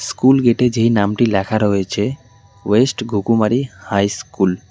School গেটে যেই নামটি লেখা রয়েছে ওয়েস্ট গোকুমারি হাই স্কুল ।